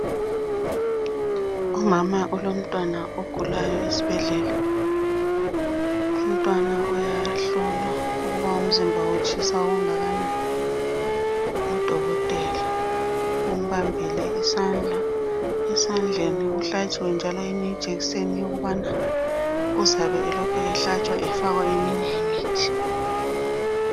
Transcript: Umama ulomntwana ogulayo esibhedlela. Umntwana uyahlolwa ukuba umzimba utshisa okungakanani, ngudokotela. Umbambile isandla. Esandleni uhlatshiwe njalo enye ijekiseni yokubana uzabe elokhu ehlatshwa efakwa eminye imithi.